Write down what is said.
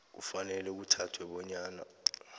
kufanele kuthathwe bonyana